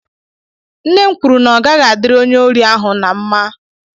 Nnem kwuru na ogaghi adiri onye ori ahu na mma.